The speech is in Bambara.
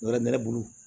Wɛrɛ bɛ ne bolo